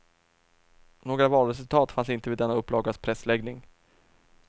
Några valresultat fanns inte vid denna upplagas pressläggning.